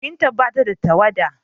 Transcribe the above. Firintar ba ta da tawada.